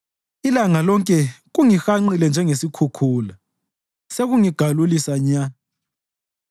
Ilanga lonke kungihanqile njengesikhukhula; sekungigalulisa nya.